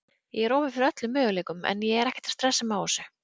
Ég er opinn fyrir öllum möguleikum en ég er ekkert að stressa mig á þessu.